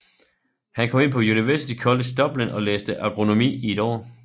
Han kom ind på University College Dublin og læste agronomi i et år